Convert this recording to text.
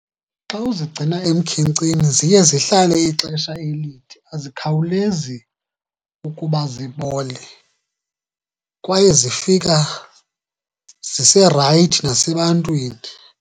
Xa uzigcina emkhenkceni ziye zihlale ixesha elide, azikhawulezi ukuba zibole kwaye zifika ziserayithi nasebantwini.